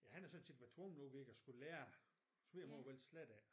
Ja han er så tit været tvunget nu ved ikke at skulle lære svigermor hvordan slet ikke